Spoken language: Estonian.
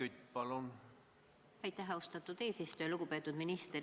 Lugupeetud minister!